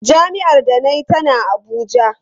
Jami’ar da na yi tana Abuja.